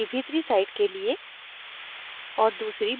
* एक ब्रोशर की भीतरी side के लिए